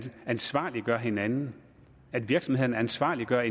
ansvarliggør hinanden virksomhederne ansvarliggør